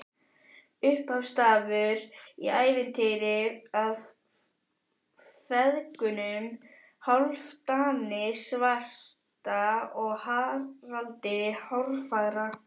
Upphafsstafur í ævintýri af feðgunum Hálfdani svarta og Haraldi hárfagra.